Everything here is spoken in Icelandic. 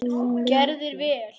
Þú gerðir vel!